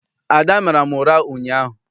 Ada mara m ụra ụnyaahụ.